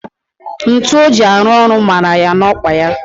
Ntu o ji arụ ọrụ mara ya n'okpa ya